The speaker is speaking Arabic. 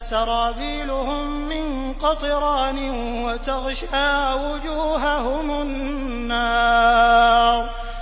سَرَابِيلُهُم مِّن قَطِرَانٍ وَتَغْشَىٰ وُجُوهَهُمُ النَّارُ